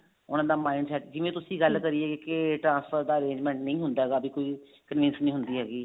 ਉਹਨਾ ਦਾ mind set ਜਿਵੇਂ ਤੁਸੀਂ ਗੱਲ ਕਰੀ ਕੇ transport ਦਾ arrangement ਨਹੀਂ ਹੁੰਦਾ ਹੈਗਾ ਵੀ ਕੋਈ convince ਨੀ ਹੁੰਦੀ ਹੈਗੀ